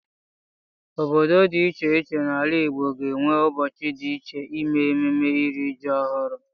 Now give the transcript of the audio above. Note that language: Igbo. Obodo dị iche iche n'ala Igbo ga-enwe ụbọchị dị iche ime ememme iri ji ọhụrụ.